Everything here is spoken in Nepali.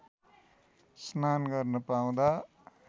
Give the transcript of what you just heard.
स्नान गर्न पाउँदा